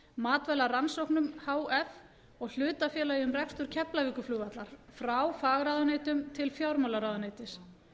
matvælarannsóknum h f og hlutafélagi um rekstur keflavíkurflugvallar frá fagráðuneytum til fjármálaráðuneytis